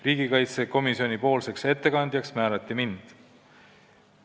Riigikaitsekomisjoni ettekandjaks määrati mind.